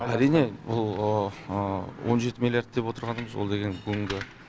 әрине он жеті миллиард деп отырғанымыз ол деген бүгінгі